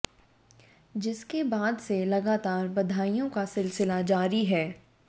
जिसके बाद से लगातार बधाइयों का सिलसिला जारी है